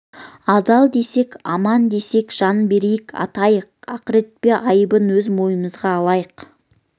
адал десек аман десек жан берейік ақтайық ақыретте айыбын өз мойнымызға алайық